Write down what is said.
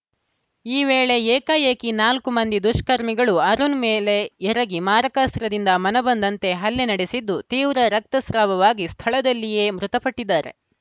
ಈ ವೇಳೆ ಏಕಾಏಕಿ ನಾಲ್ಕು ಮಂದಿ ದುಷ್ಕರ್ಮಿಗಳು ಅರುಣ್‌ ಮೇಲೆ ಎರಗಿ ಮಾರಕಾಸ್ತ್ರದಿಂದ ಮನಬಂದಂತೆ ಹಲ್ಲೆ ನಡೆಸಿದ್ದು ತೀವ್ರ ರಕ್ತಸ್ರಾವವಾಗಿ ಸ್ಥಳದಲ್ಲಿಯೇ ಮೃತಪಟ್ಟಿದ್ದಾರೆ